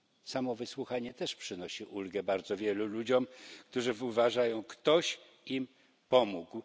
Samo wysłuchanie też przynosi ulgę bardzo wielu ludziom, którzy uważają, że ktoś im pomógł.